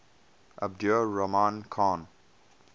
abdur rahman khan